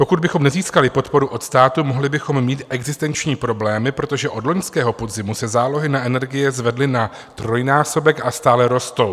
Pokud bychom nezískali podporu od státu, mohli bychom mít existenční problémy, protože od loňského podzimu se zálohy na energie zvedly na trojnásobek a stále rostou.